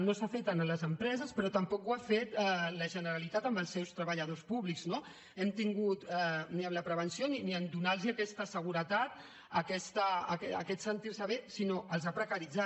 no s’ha fet en les empreses però tampoc ho ha fet la generalitat amb els seus treballadors públics no ni en la prevenció ni a donar los aquesta seguretat aquest sentir se bé sinó que els ha precaritzat